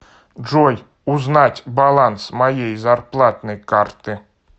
джой узнать баланс моей зарплатной карты